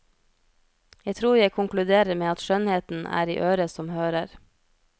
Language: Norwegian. Jeg tror jeg konkluderer med at skjønnheten er i øret som hører.